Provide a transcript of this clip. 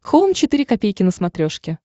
хоум четыре ка на смотрешке